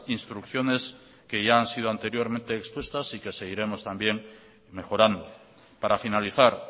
instrucciones que ya han sido anteriormente expuestas y que seguiremos también mejorando para finalizar